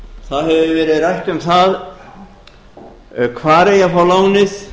það hefur verið rætt um það hvar eigi að fá lánið